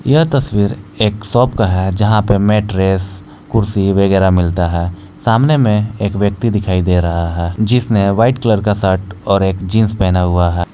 यह तस्वीर एक शॉप का है जहां पे मैट्रेस कुर्सी वगैरह मिलता है सामने में एक व्यक्ति दिखाई दे रहा है जिसने व्हाइट कलर का शर्ट और एक जींस पहना हुआ है।